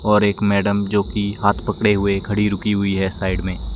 और एक मैडम जोकि हाथ पकड़े हुए खड़ी रुकी हुई है साइड में--